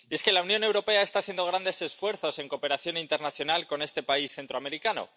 La Unión Europea está haciendo grandes esfuerzos en cooperación internacional con este país centroamericano.